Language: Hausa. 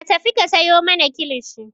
Ka tafi ka sayo mana kilishi!